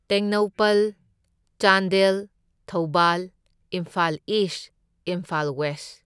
Tengnoupal, Chandel, Thoubal, Imphal East, Imphal west